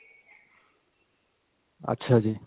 ਅੱਛਾ ਜੀ.